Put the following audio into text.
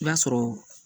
I b'a sɔrɔ